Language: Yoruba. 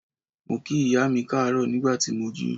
Mo kí ìyá mi káàárọ̀ nígbà tí mo jí.